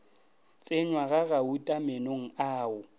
tsenywa ga gauta meenong ao